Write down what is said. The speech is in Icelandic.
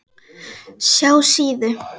SJÁ SÍÐU.